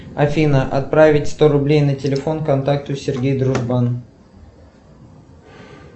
афина отправить сто рублей на телефон контакту сергей дружбан